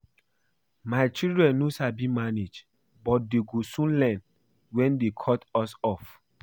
My children no sabi manage but dey go soon learn wen dey cut us off